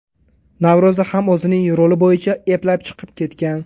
Navro‘za ham o‘zining roli bo‘yicha eplab chiqib ketgan.